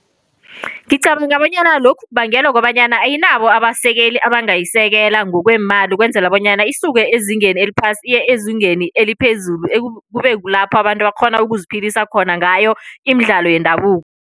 Ngicabanga bonyana lokhu kubangelwa kukobanyana ayinabo abasekeli abangayisekele ngokweemali, ukwenzela bonyana isuke ezingeni eliphasi. Iye, ezingeni eliphezulu kube kulapho abantu bakghona ukuziphilisa khona ngayo imidlalo yendabuko.